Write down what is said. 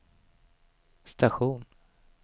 station